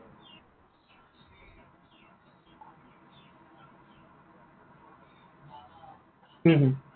হম হম